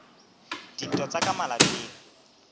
a dintwa tsa ka malapeng